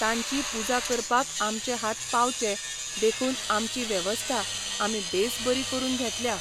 तांची पुजा करपाक आमचे हात पावचे देखून आमची वेवस्था आमी बेस बरी करून घेतल्या.